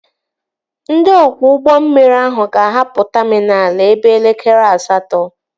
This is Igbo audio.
Ndị ọkwọ ụgbọ mmiri ahụ ga-ahapụ taminal ebe elekere asatọ